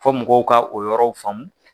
Fɔ mɔgɔw ka o yɔrɔw faamu.